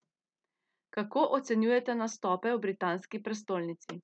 Kako ocenjujete nastope v britanski prestolnici?